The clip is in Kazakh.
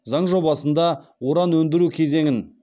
заң жобасында уран өндіру кезеңін